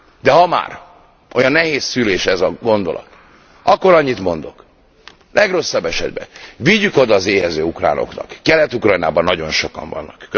De ha már olyan nehéz szülés ez a gondolat, akkor annyit mondok, legrosszabb esetben vigyük oda az éhező ukránoknak, Kelet Ukrajnában nagyon sokan vannak!